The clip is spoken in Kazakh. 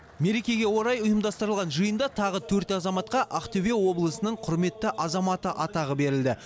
мерекеге орай ұйымдастырылған жиында тағы төрт азаматқа ақтөбе облысының құрметті азаматы атағы берілді